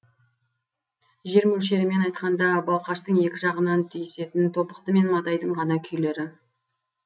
жер мөлшерімен айтқанда балқаштың екі жағынан түйісетін тобықты мен матайдың ғана күйлері